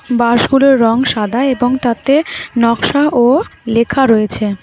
বাসগুলোর রং সাদা এবং তাতে নকশা ও লেখা রয়েছে।